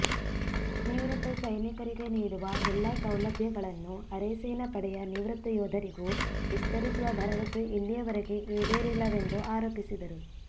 ನಿವೃತ್ತ ಸೈನಿಕರಿಗೆ ನೀಡುವ ಎಲ್ಲಾ ಸೌಲಭ್ಯಗಳನ್ನು ಅರೆಸೇನಾ ಪಡೆಯ ನಿವೃತ್ತ ಯೋಧರಿಗೂ ವಿಸ್ತರಿಸುವ ಭರವಸೆ ಇಲ್ಲಿಯವರೆಗೆ ಈಡೇರಿಲ್ಲವೆಂದು ಆರೋಪಿಸಿದರು